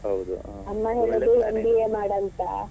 ಅಮ್ಮ ಹೇಳುದು MBA ಮಾಡು ಅಂತ.